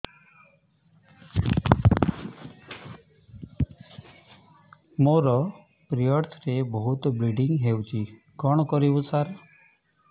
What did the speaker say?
ମୋର ପିରିଅଡ଼ ରେ ବହୁତ ବ୍ଲିଡ଼ିଙ୍ଗ ହଉଚି କଣ କରିବୁ ସାର